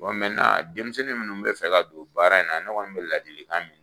denmisɛnnin munnu be fɛ ka don baara in na, ne kɔni be ladilikan min